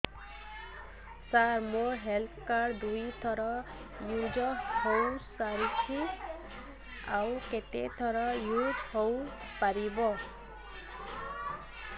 ସାର ମୋ health card ଦୁଇ ଥର ୟୁଜ଼ ହୈ ସାରିଛି ଆଉ କେତେ ଥର ୟୁଜ଼ ହୈ ପାରିବ